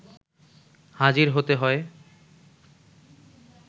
হাজির হতে হয়